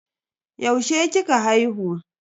Yaushe kika haihu?